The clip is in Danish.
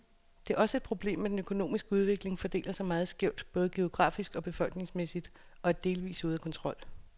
Det er også et problemet, at den økonomiske udvikling fordeler sig meget skævt, både geografisk og befolkningsmæssigt, og er delvist ude af kontrol.